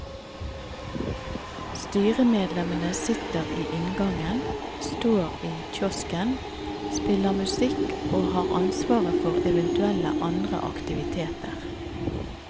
Styremedlemmene sitter i inngangen, står i kiosken, spiller musikk og har ansvaret for eventuelle andre aktiviteter.